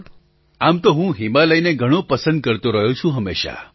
પ્રધાનમંત્રી આમ તો હું હિમાલયને ઘણો પસંદ કરતો રહ્યો છું હંમેશાં